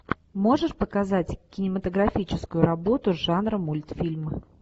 можешь показать кинематографическую работу жанра мультфильм